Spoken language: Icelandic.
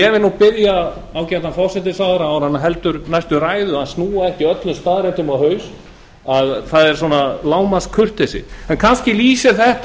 því biðja ágætan forsætisráðherra áður en hann heldur næstu ræðu að snúa ekki öllum staðreyndum á haus það er lágmarkskurteisi en þetta lýsir kannski